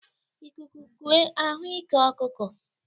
Ikuku kue a hụ ike ọkụkụ.